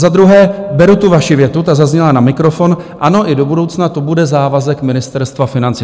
Za druhé, beru tu vaši větu, ta zazněla na mikrofon - ano, i do budoucna to bude závazek Ministerstva financí.